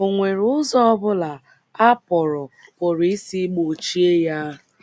Ọ̀ nwere ụzọ ọ bụla a pụrụ pụrụ isi gbochie ya?